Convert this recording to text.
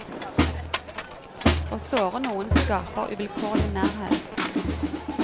Å såre noen skaper uvilkårlig nærhet.